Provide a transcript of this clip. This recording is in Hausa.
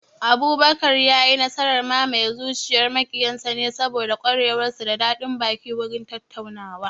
Abubakar ya yi nasarar mamaye zuciyar maƙiyan sa ne saboda ƙwarewar sa da daɗin baki wurin tattaunawa